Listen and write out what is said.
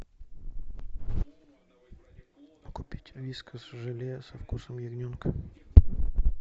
купить вискас желе со вкусом ягненка